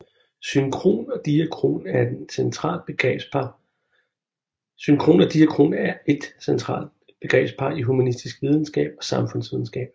Synkron og diakron er et central begrebspar i humanistisk videnskab og samfundsvidenskab